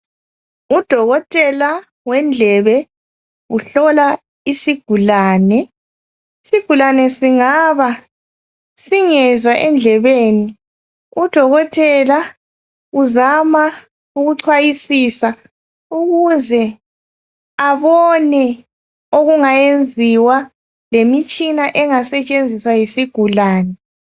Udokotela wendlebe uhlola isigulane. Isigulane singaba singezwa endlebeni. Udokotela uzama ukucwayisisa ukuze abone okungayenziwa, lemitshina engasetshenziswa yisigulane.